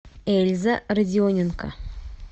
эльза родионенко